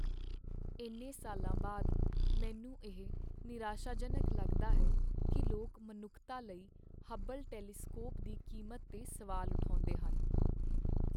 ਇੰਨੇ ਸਾਲਾਂ ਬਾਅਦ, ਮੈਨੂੰ ਇਹ ਨਿਰਾਸ਼ਾਜਨਕ ਲੱਗਦਾ ਹੈ ਕੀ ਲੋਕ ਮਨੁੱਖਤਾ ਲਈ ਹਬਲ ਟੈਲੀਸਕੋਪ ਦੀ ਕੀਮਤ 'ਤੇ ਸਵਾਲ ਉਠਾਉਂਦੇ ਹਨ।